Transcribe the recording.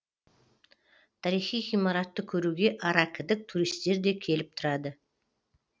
тарихи ғимаратты көруге аракідік туристер де келіп тұрады